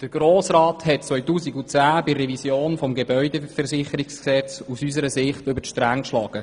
Unseres Erachtens hat der Grosse Rat 2010 bei der Revision des Gebäudeversicherungsgesetzes über die Stränge geschlagen.